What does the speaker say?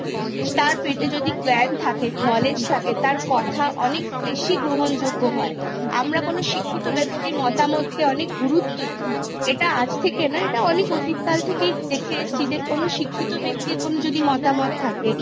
তার পেটে যদি জ্ঞান থাকে Knowledge থাকে তার কথা অনেক বেশি গ্রহণযোগ্য হয় আমরা কোনো শিক্ষিত ব্যক্তির মতামতকে অনেক গুরুত্ব দিই এটা আজ থেকে নয় এটা অনেক অতীত কাল থেকেই দেখে এসেছি যে কোনো শিক্ষিত ব্যক্তির যদি কোনো মতামত থাকে